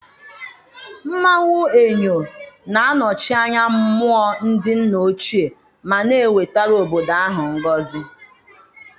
Mmanwụ Eyo na-anọchi anya mmụọ ndị nna ochie ma na-ewetara obodo ahụ ngọzi.